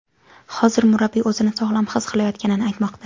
Hozir murabbiy o‘zini sog‘lom his qilayotganini aytmoqda.